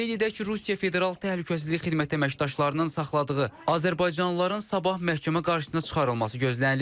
Qeyd edək ki, Rusiya Federal Təhlükəsizlik Xidməti əməkdaşlarının saxladığı azərbaycanlıların sabah məhkəmə qarşısına çıxarılması gözlənilir.